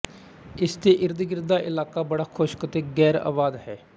ਇਸ ਦੇ ਇਰਦਗਿਰਦ ਦਾ ਇਲਾਕਾ ਬੜਾ ਖ਼ੁਸ਼ਕ ਅਤੇ ਗ਼ੈਰਆਬਾਦ ਹੈ